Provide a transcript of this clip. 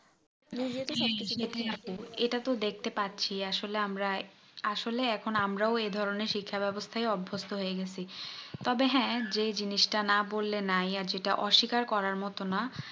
সেটাই আপু এটা তো দেখতে পাচ্ছি আসলে আমরা আসলেই এখন আমরাও এইধরণের শিক্ষা ব্যবস্থায় অভভস্থ হয়ে গেছি তবে হ্যাঁ যেই জিনিস তা না বললে নাই ই যেটা আর যেটা অস্বীকার করার মতো না